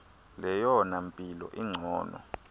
leyona mpilo ingcono